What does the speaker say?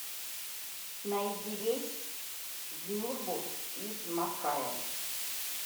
найди рейс в нюрбу из макаэ